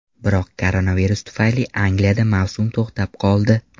Biroq koronavirus tufayli Angliyada mavsum to‘xtab qoldi.